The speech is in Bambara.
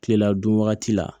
Kilela dun wagati la